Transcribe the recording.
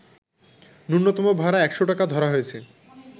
নূন্যতম ভাড়া ১০০ টাকা ধরা হয়েছে